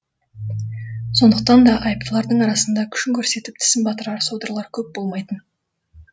сондықтан да айыптылардың арасында күшін көрсетіп тісін батырар содырлар көп болмайтын